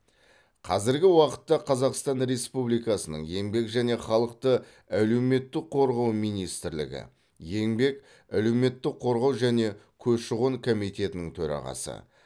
қазіргі уақытта қазақстан республикасының еңбек және халықты әлеуметтік қорғау министрлігі еңбек әлеуметтік қорғау және көші қон комитетінің төрағасы